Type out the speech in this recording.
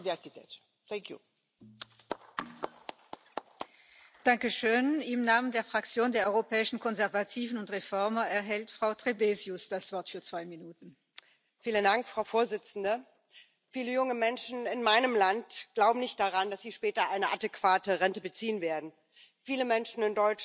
our pension systems by private actors. I have not noticed that. I may not have read the newspapers properly but, as far as I can see, in those cases where there is an attack on pension systems, it's twofold. One type of attack is by trade unions and left wing parties who are refusing reform